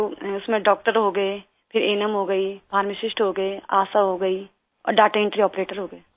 तो उसमे डॉक्टर हो गए हो फिर अन्म हो गई फार्मासिस्ट हो गए आशा हो गई और दाता एंट्री आपरेटर हो गए